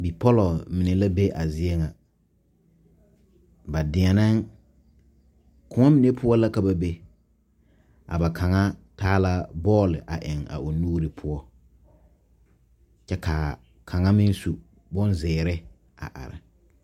Bipɔlɔ mine la be a zie ŋa ba deɛneŋ koɔ mine poɔ la ka ba be a ba kaŋa taa la bɔle a eŋ a o nuuri poɔ kyɛ ka kaŋa meŋ su bonzeere a are.